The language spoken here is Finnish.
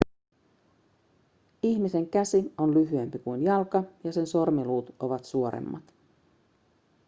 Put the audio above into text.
ihmisen käsi on lyhyempi kuin jalka ja sen sormiluut ovat suoremmat